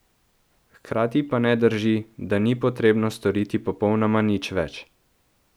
Hkrati pa ne drži, da ni potrebno storiti popolnoma nič več.